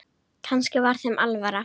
Kannski var þeim alvara.